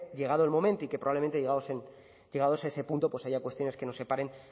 llegado el momento y que probablemente llegados a ese punto pues haya cuestiones que nos separen